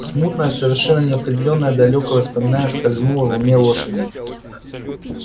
смутное совершенно неопределённое далёкое воспоминание скользнуло в уме лошади